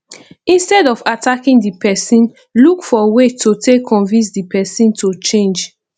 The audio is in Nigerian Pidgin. instead of attacking di person look for way to take convince di person to change